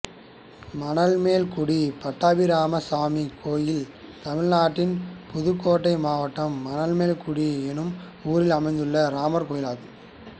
மணமேல்குடி பட்டாபிராமசாமி கோயில் தமிழ்நாட்டில் புதுக்கோட்டை மாவட்டம் மணமேல்குடி என்னும் ஊரில் அமைந்துள்ள ராமர் கோயிலாகும்